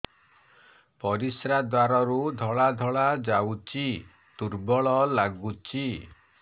ପରିଶ୍ରା ଦ୍ୱାର ରୁ ଧଳା ଧଳା ଯାଉଚି ଦୁର୍ବଳ ଲାଗୁଚି